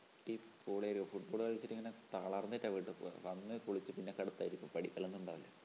അടിപൊളിയല്ലേ football കളിച്ചിട്ട് ഇങ്ങനെ തളർന്നിട്ടാ വീട്ടി പോവ്വാ. വന്ന് കുളിച്ചു പിന്നെ കെടത്തായിരിക്കും പഠിക്കലൊന്നും ഉണ്ടാവൂല്ല